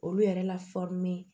Olu yɛrɛ la